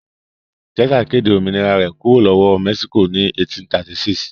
Texas kéde òmìnira rẹ̀ kúrò lọ́wọ́ Mexico ní 1836.